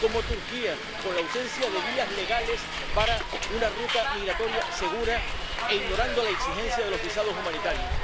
como de Turquía, con la ausencia de vías legales para una ruta migratoria segura e ignorando la exigencia de los visados humanitarios.